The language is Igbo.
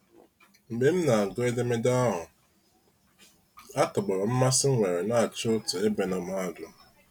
Mgbe m na agụ edemede ahụ, atọgbọrọm mmasị nnwere na ichụ otu ebe na mahadum.